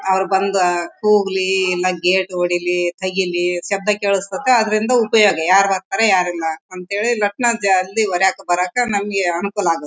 ಅವ್ರ್ ಬಂದ್ ಕೂಗ್ಲಿ ಎಲ್ಲಾ ಗೇಟ್ ಹೊಡಿಲಿ ತೆಗೀಲಿ ಶಬ್ದ ಕೇಳಿಸುತ್ತದೆ ಅದ್ರಿಂದ ಉಪಯೋಗ ಯಾರ್ ಇಲ್ಲಾ ಅಂತ್ ಹೇಳಿ ಲಕ್ನೋ ಜಲ್ದಿ ಹೋಗಕ್ಕೆ ಬರಕ್ಕೆ ನಮಗೆ ಅನುಕೂಲ ಆಗತ್ತೆ